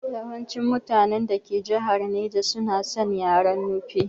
Yawancin mutanen dake jihar naja suna san yaren Nufe